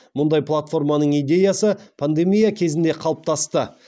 мұндай платформаның идеясы пандемия кезінде қалыптасты